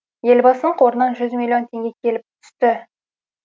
елбасының қорынан жүз миллион теңге келіп түсті